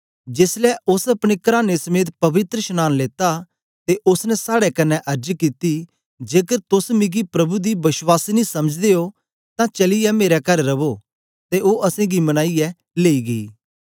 जेसलै ओस अपने कराने समेत पवित्रशनांन लेता ते ओसने साड़े कन्ने अर्ज कित्ती जेकर तोस मिकी प्रभु दी वश्वासिनी समझदे ओ तां चलीयै मेरे कर रवो ते ओ असेंगी मनाईयै लेई गेई